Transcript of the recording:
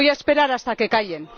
Voy a esperar hasta que callen.